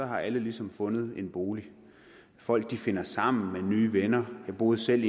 har alle ligesom fundet en bolig folk finder sammen med nye venner jeg boede selv